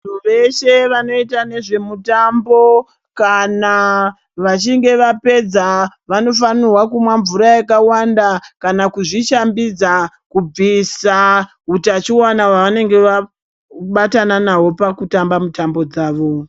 Vantu veshe vanoita ngezvemitambo kana vachinge vapedza vanofanirwa kumwa mvura yakawanda kana kuzvishambidza kubvisa hutachiwana hwavanenge vabatana nahwo pakutamba mutambo dzavo.